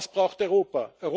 Was braucht Europa?